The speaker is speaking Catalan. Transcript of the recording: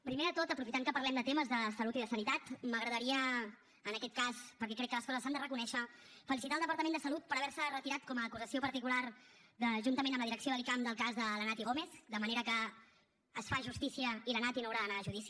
primer de tot aprofitant que parlem de temes de salut i de sanitat m’agradaria en aquest cas perquè crec que les coses s’han de reconèixer felicitar el departament de salut per haver se retirat com a acusació particular juntament amb la direcció de l’icam del cas de la naty gómez de manera que es fa justícia i la naty no haurà d’anar a judici